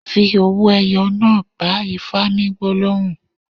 Fi owó ẹyọ náà bá Ifá ní gbólóhùn.